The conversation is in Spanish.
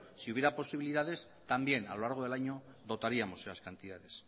si hubiera posibilidades también a lo largo del año dotaríamos las cantidades